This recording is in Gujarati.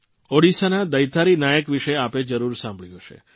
ઓડીસાના દૈતારી નાયક વિશે આપે જરૂર સાંભળ્યું હશે